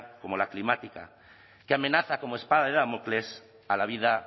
como la climática que amenaza como espada de damocles a la vida